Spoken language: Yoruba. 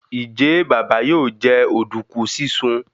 Njé Baba yóò jẹ oduku sisùn?